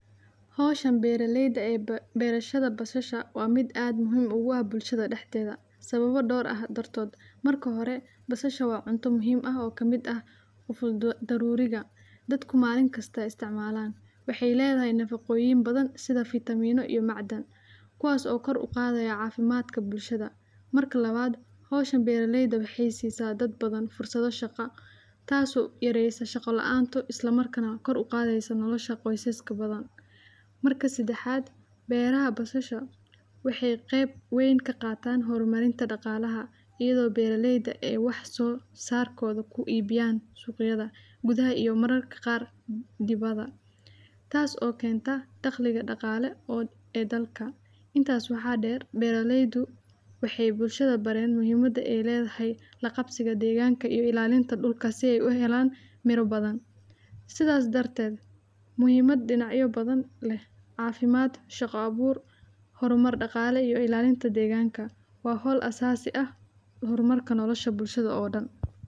Markaad doonayso inaad beerato basal, waxaad u baahan tahay inaad doorato meel fiican oo leh dhul nabi ah oo ay qorraxdu si fiican ugu soo rogtay, waxaana muhiim ah inaad hubiso in dhulka uu yahay mid fudud oo aan uu dhererkiisa aad u qoto dheerayn, sidaas oo kale waxaad u baahan tahay inaad ka ilaaliso biyaha badan oo ku dhici kara marka ay roobka da’ayo, waana qaabka ugu fiican ee loo beeran karo basal, waxaadna u baahan tahay inaad sameyso qodobo togan oo dhulka lagu dabo shaaciyo si uu uga baxo cufnaanta iyo dhererka, kadib waxaad ku rujin kartaa abuurka basal oo aad ku dhigto qodobbada kala duwan.